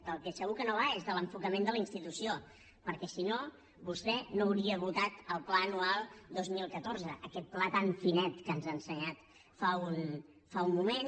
del que segur que no va és de l’enfocament de la institució perquè si no vostè no n’hauria votat el pla anual dos mil catorze aquest pla tan finet que ens ha ensenyat fa un moment